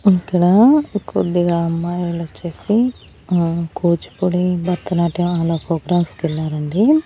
ఇక్కడా కొద్దిగా అమ్మాయిలొచ్చేసి ఆ కూచిపూడి భరతనాట్యం అలా పోగ్రామ్స్ కెల్లారండి.